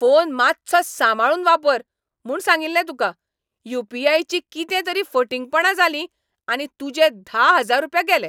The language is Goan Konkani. फोन मात्सो सांबाळून वापर म्हूण सांगिल्लें तुका. यू.पी.आय. ची कितें तरी फटींगपणां जालीं आनी तुजें धा हजार रुपया गेले.